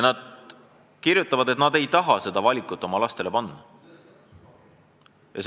Nad kirjutavad, et nad ei taha panna oma lapsi sellise valiku ette.